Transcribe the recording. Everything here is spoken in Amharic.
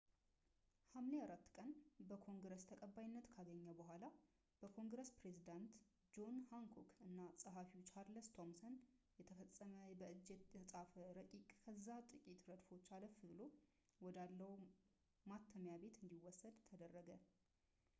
ሐምሌ 4 ቀን በኮንግረስ ተቀባይነት ካገኘ በኋላ በኮንግረስ ፕሬዝዳንት ጆን ሃንኮክ እና ጸሐፊው ቻርለስ ቶምሰን የተፈረመ በእጅ የተፃፈ ረቂቅ ከዚያ ጥቂት ረድፎች አለፍ ብሎ ወዳለው ማተሚያ ቤት እንዲወሰድ ተደረገ